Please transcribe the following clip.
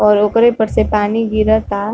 और ओकरे पर से पानी गिरता।